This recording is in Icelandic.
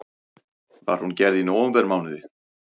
Var hún gerð í nóvembermánuði